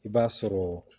I b'a sɔrɔ